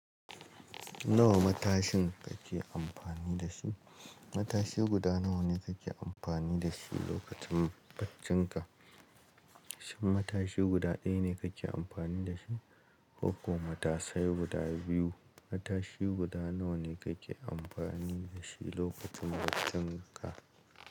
Nawa matashin kake amfani da shi? Matashi guda nawa ne kake amfani da shi lokacin baccinka? Shin matashi guda ɗaya ne kake amfani da shi ko kuma matasai guda biyu? Matashi guda nawa ne kake amfani da shi lokacin baccinka?